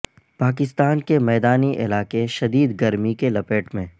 پاکستان کے میدانی علاقے شدید گرمی کی لپیٹ میں